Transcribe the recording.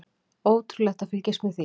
Ótrúlegt að fylgjast með því.